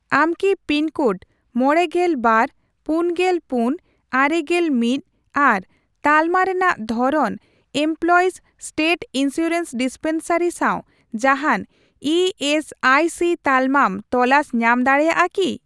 ᱟᱢ ᱠᱤ pin code ᱢᱚᱲᱮᱜᱮᱞ ᱵᱟᱨ ,ᱯᱩᱱᱜᱮᱞ ᱯᱩᱱ ,ᱟᱨᱮᱜᱮᱞ ᱢᱤᱛ ᱟᱨ ᱛᱟᱞᱢᱟ ᱨᱮᱱᱟᱜ ᱫᱷᱚᱨᱚᱱ ᱮᱢᱯᱞᱚᱭᱤᱥ ᱥᱴᱮᱴ ᱤᱱᱥᱩᱨᱮᱱᱥ ᱰᱤᱥᱯᱮᱱᱥᱟᱨᱤ ᱥᱟᱣ ᱡᱟᱦᱟᱱ ᱤ ᱮᱥ ᱟᱭ ᱥᱤ ᱛᱟᱞᱢᱟᱢ ᱛᱚᱞᱟᱥ ᱧᱟᱢ ᱫᱟᱲᱮᱭᱟᱜᱼᱟ ᱠᱤ ?